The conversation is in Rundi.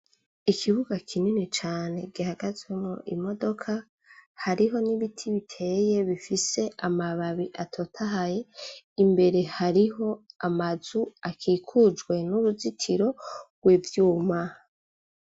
Ikibuga kirimw' ibiti bibiri, munsi yavyo har' imiduga, hepfo yaho har' ikigo c' amashure cubakishijwe n' amatafar' ahiye n' amabati yirabura, inzugi n' imiryango bisiz' irangi ryera, imbere y' amashure har' ibikinisho vy' abana hakikujwe n' uruzitiro rw' ivyuma bis' ubururu hasi har' ivu ry' umsenyi.